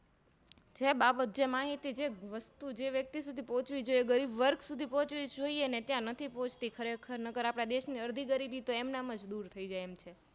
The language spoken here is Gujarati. જે બાબત જે માહિતી જે વસ્તુ જે વ્યક્તિ સુધી પોહ્ચવી જોઈએ ગરીબવર્ગ સુધી પોહ્ચવી જોઈએ ને ત્યાં નથી પોહ્ચતી ખરેખર નકર આપણા દેશ ની અડધી ગ્રીબીતો એમનમજ દૂર થઈ જાય